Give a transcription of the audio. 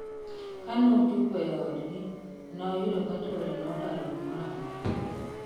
Kanochopo e odgi noyudo ka chwore nodaro gimoro amora